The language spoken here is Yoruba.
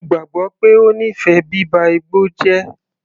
Mo gbàgbọ́ pé ó nífẹ̀ẹ́ bíba igbó jẹ́.